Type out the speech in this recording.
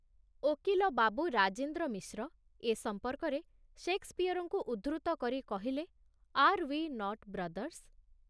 ଓକିଲ ବାବୁ ରାଜେନ୍ଦ୍ର ମିଶ୍ର ଏ ସମ୍ପର୍କରେ ଶେକ୍ସପିଅରଙ୍କୁ ଉଦ୍ଧୃତ କରି କହିଲେ, ଆର୍ ଉଇ ନଟ୍ ବ୍ରଦର୍ସ୍